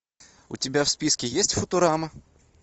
у тебя в списке есть футурама